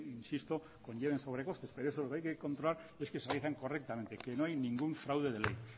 insisto conlleven sobrecostes pero lo hay que controlar es que se realizan correctamente que no hay ningún fraude de ley